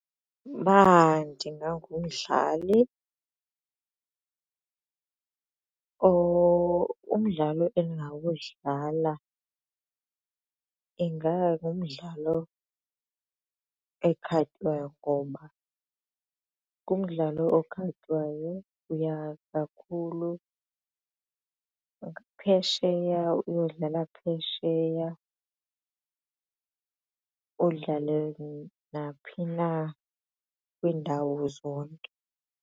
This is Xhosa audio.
Uba ndingangumdlali umdlalo endingawudlala ingangumdlalo ekhatywayo ngoba ngumdlalo okhatywayo uya kakhulu phesheya uyodlala phesheya udlale naphi na kwiindawo zonke.